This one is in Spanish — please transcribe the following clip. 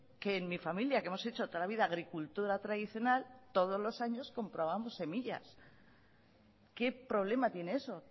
que en mi familia que hemos hecho toda la vida agricultura tradicional todos los años comprábamos semillas qué problema tiene eso